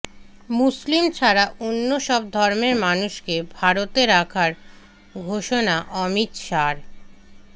মুসলিম ছাড়া অন্য সব ধর্মের মানুষকে ভারতে রাখার ঘোষণা অমিত শাহর